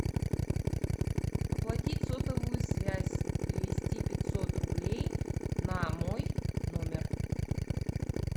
оплатить сотовую связь перевести пятьсот рублей на мой номер